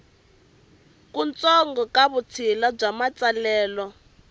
kutsongo ka vutshila bya matsalelo